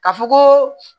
Ka fɔ koo